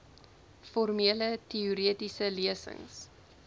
formele teoretiese lesings